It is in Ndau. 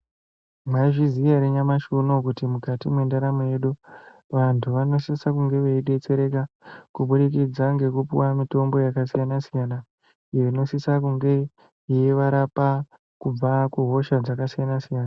Maizviziya ere nyamashi unowu mukati me ntaramo yedu vantu vanosise kunge vei detsereka kubudikidza ngeku piwa mitombo yaka siyana siyana iyo ino sisa kunge yei varapa kubva ku hosha dzaka siyana siyana.